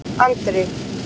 Andri